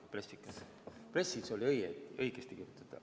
Pressiteates oli õigesti kirjutatud.